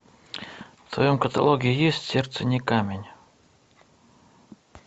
в твоем каталоге есть сердце не камень